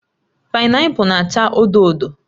Painapul na-acha odo odo